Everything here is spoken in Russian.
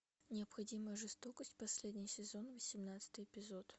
необходимая жестокость последний сезон восемнадцатый эпизод